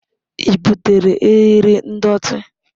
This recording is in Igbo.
Ị butere eriri ndọtị?